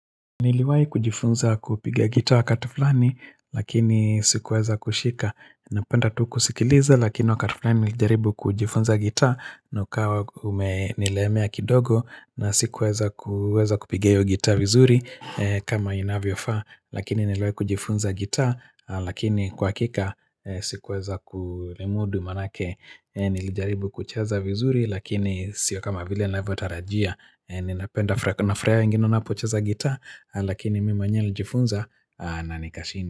Niliwahi kujifunza kupige gitaa wakati flani lakini sikuweza kushika Napenda tu kusikiliza lakini wakati fulani nilijaribu kujifunza gitaa na ukawa nilemea kidogo na sikuweza kupiga hio gitaa vizuri kama inavyofaa Lakini niliwahi kujifunza gitaa lakini kwa hakika sikuweza kulimudu manake Nilijaribu kucheza vizuri lakini sio kama vile ninavyotarajia Ninapenda, kuna furaha ingine unapocheza gitaa lakini mi mwenyewe nilijifunza na nikashindwa.